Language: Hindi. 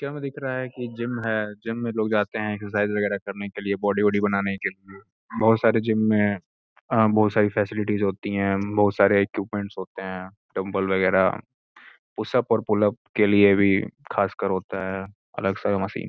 हमें दिख रहा है कि जिम है जिम में लोग जाते हैं एक्सरसाइज वगैरह करने के लिए बॉडी वडी बनाने के लिए बहुत सारे जिम में बहुत सारी फैसिलिटीज होती हैं बहुत सारे इक्विपमेंट्स होते हैं डंबल वगैरह पुशअप और पुलअप के लिए भी खासकर होता है अलग सारे मशीन --